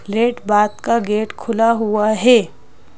Late bath का gate खुला हुआ है।